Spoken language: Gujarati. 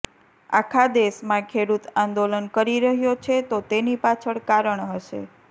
આખા દેશમાં ખેડૂત આંદોલન કરી રહ્યો છે તો તેની પાછળ કારણ હશે